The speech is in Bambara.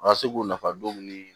A ka se k'u nafa don ni